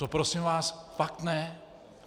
To prosím vás fakt ne.